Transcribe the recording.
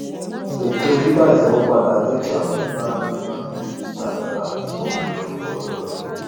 ètò dídá ìsanwó padà jẹ kí àwọn oníbàárà lè fagilé títàrírà tí kò bá ju ọgbọn ọjọ lọ